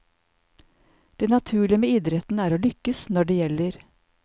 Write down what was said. Det naturlige med idretten er å lykkes når det gjelder.